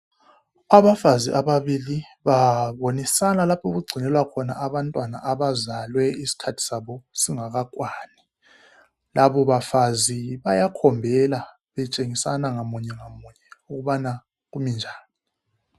Abafazi ababili babonisana lapho okugcinelwa khona abantwana abazalwe isikhathi sabo singakakwani. Labo bafazi bayakhombela betshengisana munye lamunye kubana kumi njani.